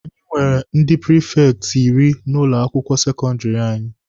Anyị nwere ndi prifekti iri n'ụlọ akwụkwọ sekọndịrị anyị.